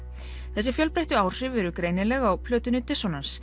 þessi fjölbreyttu áhrif eru greinileg á plötunni